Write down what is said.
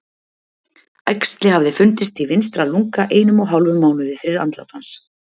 Æxli hafði fundist í vinstra lunga einum og hálfum mánuði fyrir andlát hans.